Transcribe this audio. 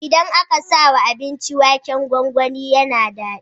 Idan aka sawa abinci waken gwangwani yAna dadi